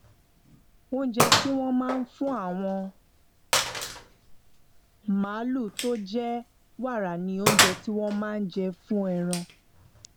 oúnjẹ tí wón máa fún àwọn màlúù tó jẹ wàrà ni oúnjẹ tí wón máa jẹ fún ẹran